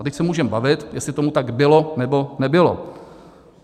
A teď se můžeme bavit, jestli tomu tak bylo, nebo nebylo.